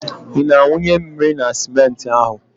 Ị na-awụnye mmiri na simenti ahụ?